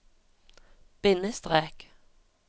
bindestrek